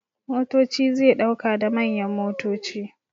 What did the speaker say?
Motoci zai dauka da manyan motoci.